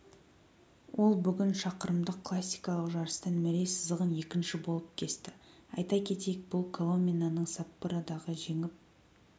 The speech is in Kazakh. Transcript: ол бүгін шақырымдық классикалық жарыстан мәре сызығын екінші болып кесті айта кетейік бұл коломинаның саппородағы жеңіп